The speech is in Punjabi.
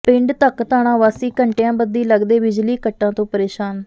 ਪਿੰਡ ਧਕਧਾਣਾ ਵਾਸੀ ਘੰਟਿਆਂਬੱਧੀ ਲਗਦੇ ਬਿਜਲੀ ਕੱਟਾਂ ਤੋਂ ਪ੍ਰੇਸ਼ਾਨ